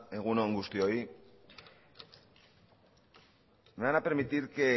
egun on guztioi me van a permitir que